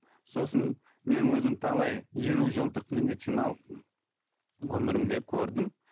сосын мен өзім талай елу жылдық медициналық өмірімде көрдім